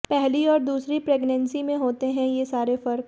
पहली और दूसरी प्रेगनेंसी में होते हैं ये सारे फर्क